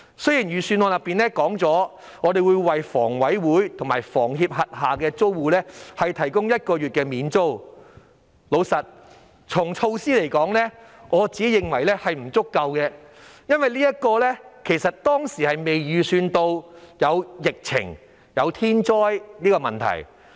雖然預算案提到會為房委會及香港房屋協會轄下租戶提供1個月免租，坦白說，我認為這種措施並不足夠，因為當時並未預計會有疫情和天災的問題。